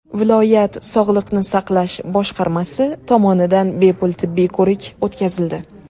Viloyat sog‘liqni saqlash boshqarmasi tomonidan bepul tibbiy ko‘rik o‘tkazildi.